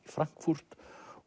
Frankfurt